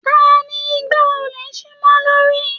Taní ìgbà olè sí mọ lórí?